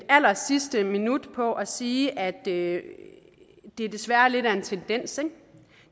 allersidste minut på at sige at det desværre er lidt af en tendens